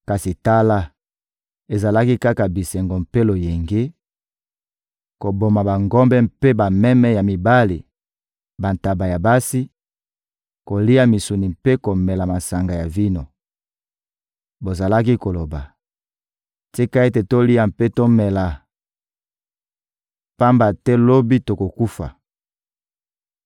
Kasi tala, ezalaki kaka bisengo mpe loyenge, koboma bangombe mpe bameme ya mibali, bantaba ya basi, kolia misuni mpe komela masanga ya vino! Bozalaki koloba: «Tika ete tolia mpe tomela, pamba te, lobi, tokokufa!»